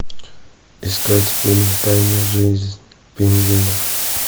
искать фильм тайная жизнь пингвинов